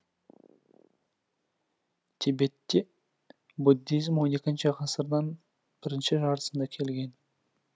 тибеттен буддизм он екінші ғасырдан бірінші жартысында келген